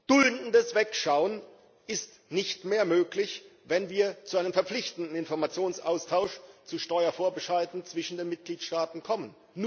Duldendes Wegschauen ist nicht mehr möglich, wenn wir zu einem verpflichtenden Informationsaustausch über Steuervorbescheide zwischen den Mitgliedstaaten kommen.